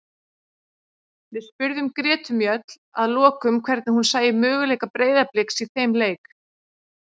Við spurðum Gretu Mjöll að lokum hvernig hún sæi möguleika Breiðabliks í þeim leik.